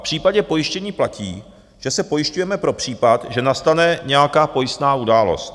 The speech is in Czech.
V případě pojištění platí, že se pojišťujeme pro případ, že nastane nějaká pojistná událost.